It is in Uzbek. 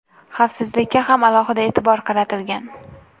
Xavfsizlikka ham alohida e’tibor qaratilgan.